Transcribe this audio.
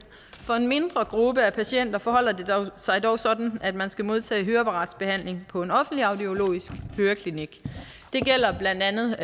for en mindre gruppe af patienter forholder det sig dog sådan at man skal modtage høreapparatsbehandling på en offentlig audiologisk høreklinik det gælder blandt andet